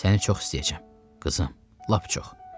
Səni çox istəyəcəm, qızım, lap çox.